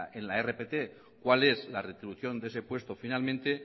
en la rpt cuál es la retribución de ese puesto finalmente